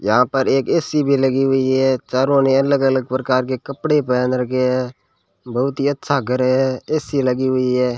हां पर एक ए_सी भी लगी हुई है चारों ने अलग अलग प्रकार के कपड़े पहन रखे हैं बहुत ही अच्छा घर है ए_सी लगी हुई है।